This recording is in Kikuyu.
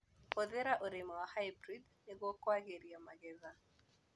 Hũthĩra ũrĩmi wa hybrid nĩguo kwagĩria magetha.